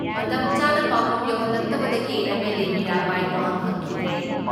ꯃꯇꯝ ꯆꯥꯅ ꯄꯥꯎꯈꯨꯝ ꯌꯧꯍꯜꯂꯛꯇꯕꯗꯒꯤ ꯑꯦꯝ.ꯑꯦꯜ.ꯑꯦ. ꯃꯤꯔꯥꯕꯥꯏ ꯋꯥꯍꯪ ꯍꯪꯈꯤꯗ꯭ꯔꯦ ꯫